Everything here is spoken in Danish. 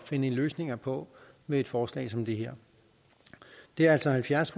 finde løsninger på med et forslag som det her det er altså halvfjerds